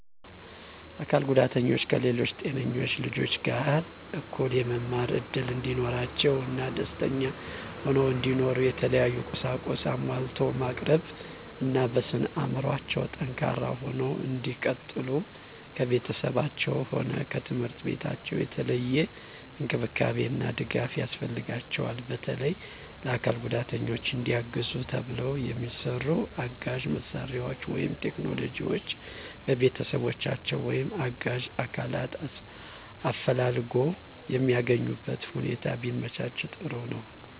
አካል ጉዳተኞች ከሌሎች ጤነኞች ልጆች ጋር እኩል የመማር እድል እንዲኖራቸው እና ደስተኛ ሁነው እንዲኖሩ የተለያዩ ቁሳቁስ አሟልቶ ማቅረብ እና በስነ አዕምሮአቸው ጠንካራ ሁነው እንዲቀጥሉ ከቤተሰባቸውም ሆነ ከትምህርት ቤታቸው የተለየ እንክብካቤ እና ድጋፍ ያስፈልጋቸዋል። በተለየ ለአካል ጉዳተኞች እንዲያግዙ ተብለው የሚሰሩ አጋዥ መሳሪያዎች ወይም ቴክኖሎጅዎች በቤተሰቦቻቸው ወይም አጋዥ አካላትን አፈላልጎ የሚያገኙበትነ ሁኔታ ቢመቻች ጥሩ ነዉ።